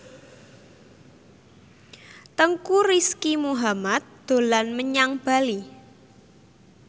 Teuku Rizky Muhammad dolan menyang Bali